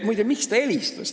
Muide, miks ta helistas?